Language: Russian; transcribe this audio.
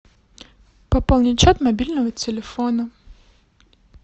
пополнить счет мобильного телефона